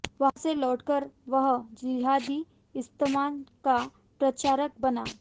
वहां से लौटकर वह जिहादी इस्लाम का प्रचारक बना